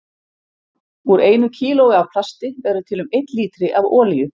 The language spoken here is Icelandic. Úr einu kílói af plasti verður til um einn lítri af olíu.